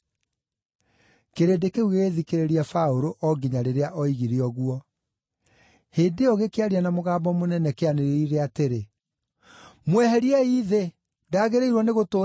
Kĩrĩndĩ kĩu gĩgĩthikĩrĩria Paũlũ o nginya rĩrĩa oigire ũguo. Hĩndĩ ĩyo gĩkĩaria na mũgambo mũnene kĩanĩrĩire, atĩrĩ, “Mweheriei thĩ! Ndagĩrĩirwo nĩgũtũũra muoyo!”